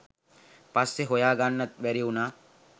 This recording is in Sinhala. පස්සෙ හොයා ගන්නත් බැරි වුණා.